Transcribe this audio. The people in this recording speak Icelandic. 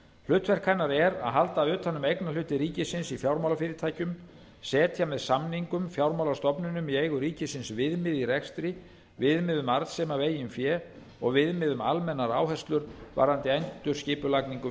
hlutverk hennar er að halda utan um eignarhluti ríkisins í fjármálafyrirtækjum setja með samningum fjármálastofnunum í eigu ríkisins viðmið í rekstri viðmið um arðsemi af eigin fé og viðmið um almennar áherslur varðandi endurskipulagningu